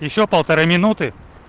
ещё полторы минуты